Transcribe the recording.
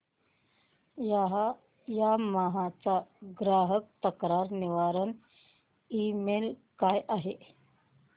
Yamaha चा ग्राहक तक्रार निवारण ईमेल काय आहे